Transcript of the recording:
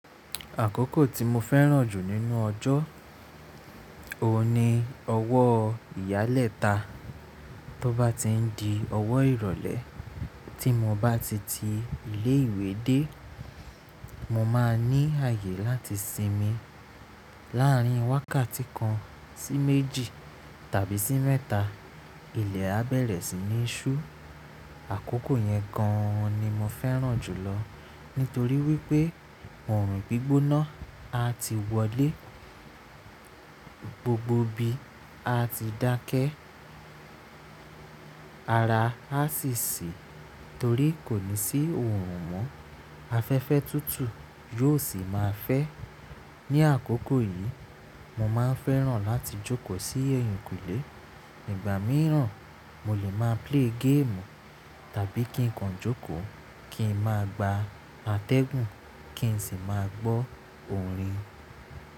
Àkókò tí mo fẹ́ràn jù nínú ọjọ́, òun ni ọwọ́ ìyálẹta. Tóbá ti ń di ọwọ́ ìrọ̀lẹ́ tí mo bá ti ti ilé ìwé dé, mo máa ní ààyè láti sinmi láàrín wákàtí kan sí méjì tàbí sí mẹ́ta. Ilẹ̀ á bẹ̀rẹ̀ sí ní ṣú. Àkókò yẹn gan an ni mo fẹ́ràn jùlọ nítorí wípé òòrùn gbígbóná a ti wọlé, gbogbo ibi a ti dákẹ́, ara a sì ṣí torí kò ní sí òòrùn mọ́. Afẹ́fẹ́ tútù yóò sì máa fẹ́. Ni àkókò yìí, mo máa ń fẹ́ràn láti jókòó sí ẹ̀yìnkùlé. Ìgbà mìíràn, mo lè máa play game tàbí kí n kan jókòó, kí n máa gba àtẹ́gùn, kí n sì máa gbọ́ òrin.